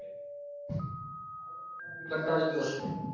કંટાળી ગયો હશે